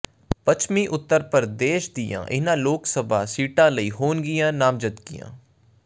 ਪੱਛਮੀ ਉੱਤਰ ਪ੍ਰਦੇਸ਼ ਦੀਆਂ ਇਨ੍ਹਾਂ ਲੋਕ ਸਭਾ ਸੀਟਾਂ ਲਈ ਹੋਣਗੀਆਂ ਨਾਮਜ਼ਦਗੀਆਂ